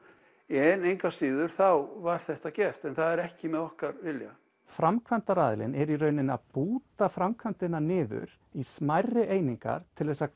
en engu að síður var þetta gert en það var ekki með okkar vilja framkvæmdaraðilinn er í rauninni að búta framkvæmdina niður í smærri einingar til þess að